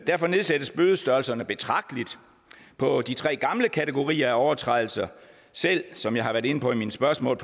derfor nedsættes bødestørrelserne betragteligt på de tre gamle kategorier af overtrædelser selv som jeg har været inde på i mine spørgsmål